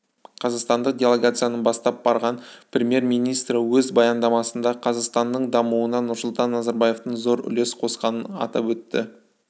қазақстандық делегацияны бастап барған премьер-министрі өз баяндамасында қазақстанның дамуына нұрсұлтан назарбаевтың зор үлес қосқанын атап өтті